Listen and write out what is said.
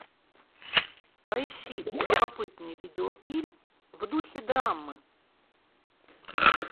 поищи любопытный видеофильм в духе драмы